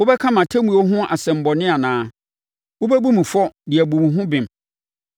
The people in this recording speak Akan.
“Wobɛka mʼatemmuo ho asɛm bɔne anaa? Wobɛbu me fɔ de abu wo ho bem?